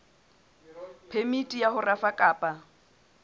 phemiti ya ho rafa kapa